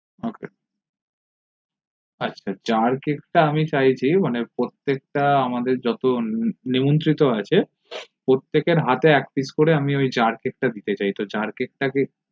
ok আচ্ছা jarcake টা আমি চাইছি মানে প্রত্যেক টা আমাদের যত নিমন্ত্রিত আছে প্রত্যেকের হাতে এক pice করে আমি ওই jarcake দিতে চাই